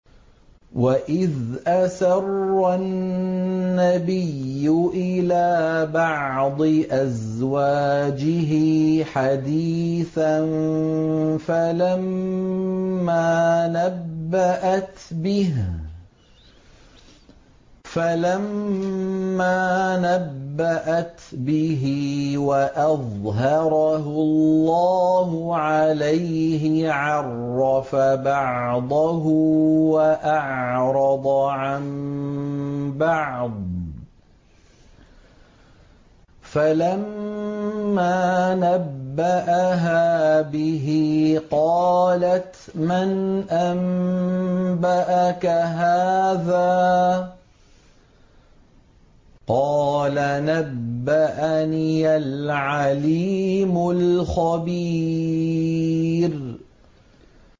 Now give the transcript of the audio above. وَإِذْ أَسَرَّ النَّبِيُّ إِلَىٰ بَعْضِ أَزْوَاجِهِ حَدِيثًا فَلَمَّا نَبَّأَتْ بِهِ وَأَظْهَرَهُ اللَّهُ عَلَيْهِ عَرَّفَ بَعْضَهُ وَأَعْرَضَ عَن بَعْضٍ ۖ فَلَمَّا نَبَّأَهَا بِهِ قَالَتْ مَنْ أَنبَأَكَ هَٰذَا ۖ قَالَ نَبَّأَنِيَ الْعَلِيمُ الْخَبِيرُ